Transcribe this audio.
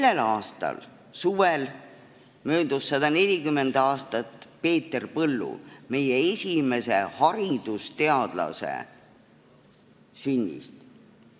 Selle aasta suvel möödus 140 aastat Peeter Põllu, meie esimese haridusteadlase sünnist.